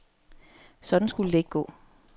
Sådan skulle det ikke gå.